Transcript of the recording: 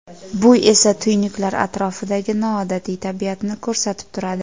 Bu esa tuynuklar atrofidagi noodatiy tabiatni ko‘rsatib turadi.